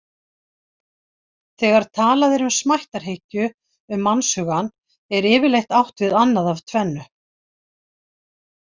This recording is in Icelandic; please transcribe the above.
Þegar talað er um smættarhyggju um mannshugann er yfirleitt átt við annað af tvennu.